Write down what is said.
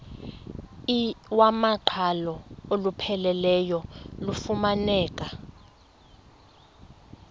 iwamaqhalo olupheleleyo lufumaneka